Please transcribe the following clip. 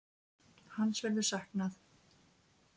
Hans verður saknað.